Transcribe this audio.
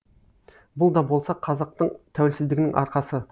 бұл да болса қазақтың тәуелсіздігінің арқасы